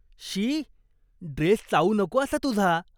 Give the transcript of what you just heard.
शी, dress चावू नको असा तुझा.